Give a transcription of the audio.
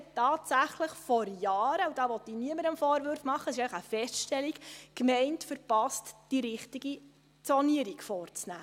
Dort hat es die Gemeinde vor Jahren tatsächlich verpasst –da will ich niemandem Vorwürfe machen, das ist einfach eine Feststellung –, die richtige Zonierung vorzunehmen.